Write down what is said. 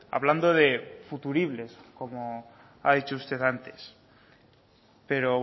hablando de futuribles como ha dicho usted antes pero